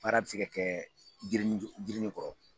Baara bɛ se kɛ jirinin jirinin kɔrɔ.